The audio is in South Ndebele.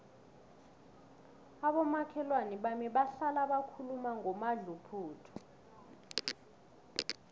abomakhelwana bami bahlala bakhuluma ngomadluphuthu